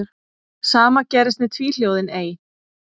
Sama gerðist með tvíhljóðið ey.